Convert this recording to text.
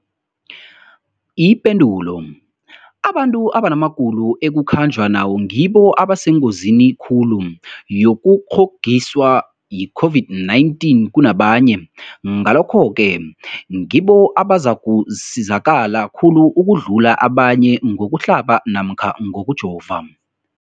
Ipendulo, abantu abanamagulo ekukhanjwa nawo ngibo abasengozini khulu yokukghokghiswa yi-COVID-19 kunabanye, Ngalokhu-ke ngibo abazakusizakala khulu ukudlula abanye ngokuhlaba namkha ngokujova.